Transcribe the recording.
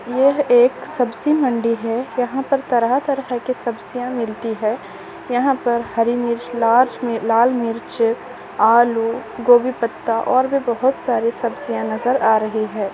यह एक सब्जी मंडी है यहाँ पर तरह-तरह के सब्जियां मिलती है यहाँ पर हरी मिर्च लार्ज मी लाल मिर्च आलू गोभी पत्ता और भी बहुत सारे सब्जियां नजर आ रही है।